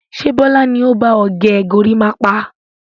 Ṣé Bọlá ni ó ba ọ gẹ gorímápá?